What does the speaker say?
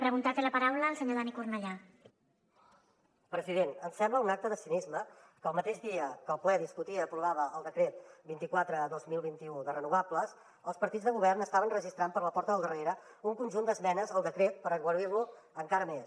president em sembla un acte de cinisme que el mateix dia que el ple discutia i aprovava el decret vint quatre dos mil vint u de les renovables els partits del govern estaven registrant per la porta del darrere un conjunt d’esmenes al decret per aigualir lo encara més